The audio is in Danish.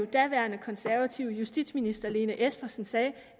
daværende konservative justitsminister fru lene espersen sagde at